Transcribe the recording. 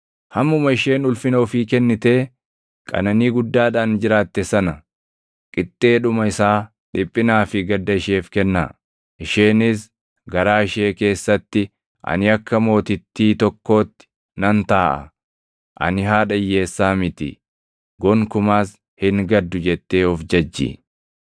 Hammuma isheen ulfina ofii kennitee qananii guddaadhaan jiraatte sana, qixxeedhuma isaa dhiphinaa fi gadda isheef kennaa. Isheenis garaa ishee keessatti, ‘Ani akka mootittii tokkootti nan taaʼa; ani haadha hiyyeessaa miti; gonkumaas hin gaddu’ jettee of jajji.